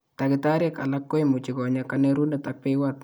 Takitariek alak ko imuch ko nya kanerunet ak beywat